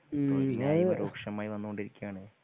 തൊഴിൽ ഇല്ലായ്‌മ രൂക്ഷമായി വന്നു കൊണ്ടിരിക്കുവാണ്.